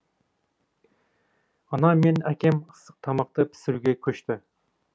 анам мен әкем ыстық тамақты пісіруге көшті